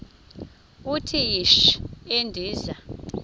uthi yishi endiza